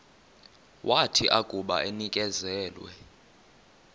wathi akuba enikezelwe